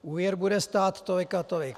Úvěr bude stát tolik a tolik.